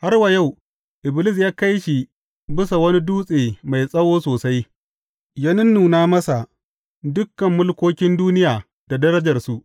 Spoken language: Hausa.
Har wa yau, Iblis ya kai shi bisa wani dutse mai tsawo sosai, ya nunnuna masa dukan mulkokin duniya da darajarsu.